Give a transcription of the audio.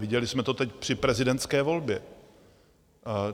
Viděli jsme to teď při prezidentské volbě.